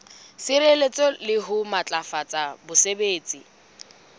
sireletsa le ho matlafatsa botsebi